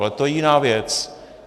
Ale to je jiná věc.